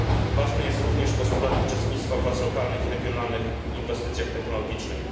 Ważny jest również postulat uczestnictwa władz lokalnych i regionalnych w inwestycjach technologicznych.